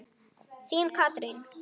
Þín, Katrín.